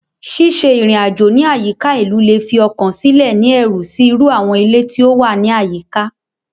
Ṣiṣe irin-ajo ni ayika ilu le fi ọkan silẹ ni ẹru si iru awọn ile ti o wa ni ayika